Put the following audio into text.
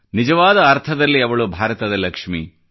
ನಿಜವಾದ ಅರ್ಥದಲ್ಲಿ ಅವಳು ಭಾರತದ ಲಕ್ಷ್ಮಿ